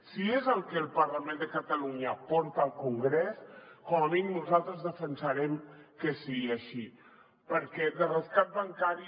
si és el que el parlament de catalunya porta al congrés com a mínim nosaltres defensarem que sigui així perquè de rescat bancari